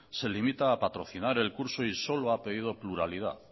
se limita a patrocinar el curso y